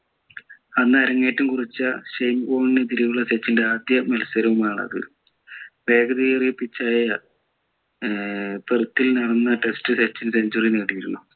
അന്ന് അരങ്ങേറ്റം കുറിച്ച ഷെയിൻ വോൺ എതിരെയുള്ള സച്ചിൻ്റെ ആദ്യ മത്സരവുമാണത് വേഗതയേറിയ pitch ആയ ഏർ പെർത്തിൽ നടന്ന test ൽ സച്ചിൻ century അടിച്ചു